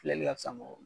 Filɛli ka fisa mɔgɔ